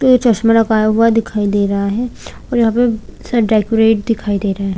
चश्मा लगा हुआ दिखाई दे रहा है और यहाँ पे शायद डेकोरेट दिखाई दे रहा है।